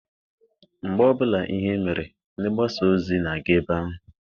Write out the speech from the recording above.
Mgbe ọbụla ihe mere, ndị mgbasa ozi na-aga ebe ahụ.